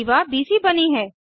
जीवा बीसी बनी है